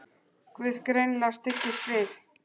Guð greinilega styggst við.